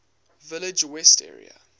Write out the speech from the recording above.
village west area